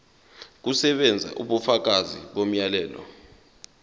kusebenza ubufakazi bomyalelo